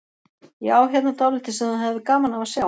Ég á hérna dálítið sem þú hefðir gaman af að sjá.